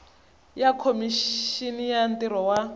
ya khomixini ya ntirho wa